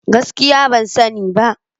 Gaskiya! Ban sani ba.